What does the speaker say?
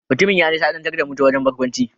Mutumin ya nishadantar da mu ta wajen barkwanci.